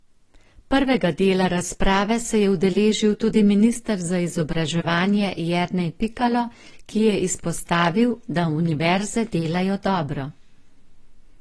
Prvega dela razprave se je udeležil tudi minister za izobraževanje Jernej Pikalo, ki je izpostavil, da univerze delajo dobro.